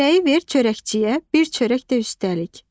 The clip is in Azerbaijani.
Çörəyi ver çörəkçiyə, bir çörək də üstəlik.